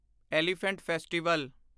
elephant festival